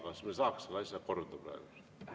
Kas me saaks selle asja korda ajada praegu?